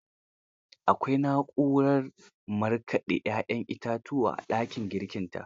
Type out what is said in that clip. Akwai na'urar marƙade 'ya'yan itatuwa a dakin girkinta.